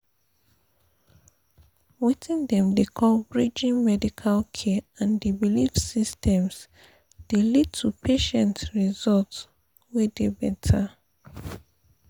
weting dem dey call pause— bridging pause medical care and the belief systems dey lead to patient results wey dey better.